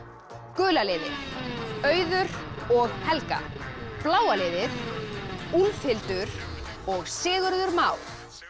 gula liðið Auður og Helga bláa liðið Úlfhildur og Sigurður Már